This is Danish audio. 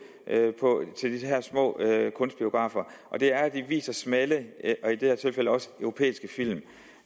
til de her små kunstbiografer og det er at de viser smalle og i det her tilfælde også europæiske film